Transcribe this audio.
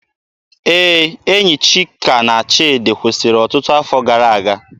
Ee, enyi Chika na Chidi kwụsịrị ọtụtụ afọ gara aga